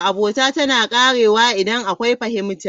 Abota tana ƙarewa idan akwai fahimta.